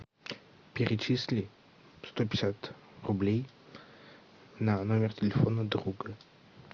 перечисли сто пятьдесят рублей на номер телефона друга